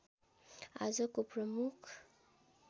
आजको प्रमुख